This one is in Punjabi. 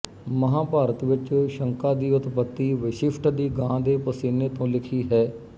ਮਹਂਾਭਾਰਤ ਵਿੱਚ ਸ਼ਕਾਂ ਦੀ ਉਤਪੱਤੀ ਵਸਿਸ਼ਠ ਦੀ ਗਾਂ ਦੇ ਪਸੀਨੇ ਤੋਂ ਲਿਖੀ ਹੈ